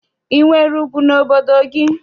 I nwere ugwu n'obodo gị?